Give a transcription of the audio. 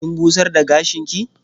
Kin busar da gashinki?